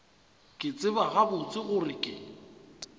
ke tseba gabotse gore ke